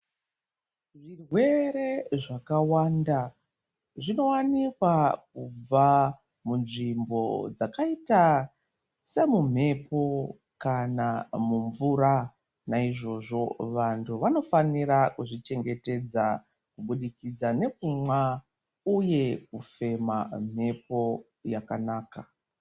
Zvirwere zvakawanda zvinowanikwa kubva munzvimbo dzakaita semumhepo kana mumvura. Naizvozvo vantu vanofanira kuzvichengetedza kubudikidza nekumwa uye kufema mhepo yakanaka.